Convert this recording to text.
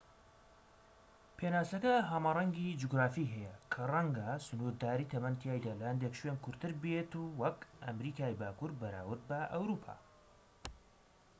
پێناسەکە هەمەڕەنگی جوگرافی هەیە کە ڕەنگە سنوورداری تەمەن تیایدا لە هەندێک شوێن کورتتر بیت وەک ئەمەریکای باکوور بەراورد بە ئەوروپا